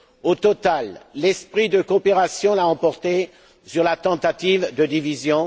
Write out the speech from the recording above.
Au total, l'esprit de coopération l'a emporté sur la tentative de division.